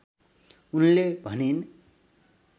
उनले भनिन्